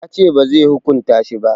Ya ce bazai hukunta shi ba